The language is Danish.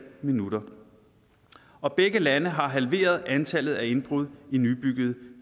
minutter og begge lande har halveret antallet af indbrud i nybyggede